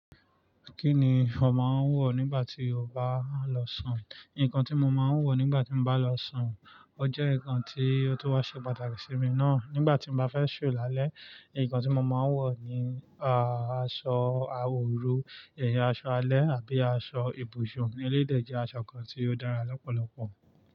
Kí ni ọ máa ń wọ̀ nígbà tí o bá lọ sùn? Nǹkan tí mo máa ń wọ̀ nígbà tí mo bá lọ sùn, ó jẹ́ nǹkan tí ó tó wa ṣe pàtàkì sí mi ná. Nígbà tí mo bá fẹ́ ṣò láélé, nǹkan tí mo máa ń wọ̀ ni aṣọ àwọ̀ òru, ẹ̀yin aṣọ alẹ́ àbí aṣọ ibùsùn ni lílẹ̀ jẹ́ aṣọ kan tí ó dára lọ́pọ̀lọpọ̀.